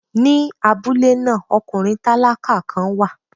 Ní abúlé náà, ọkùnrin tálákà kan wà.